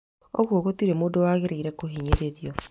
Ũgũo gũtirĩ mũndũ wagĩrĩirwo kũhinyĩrĩrio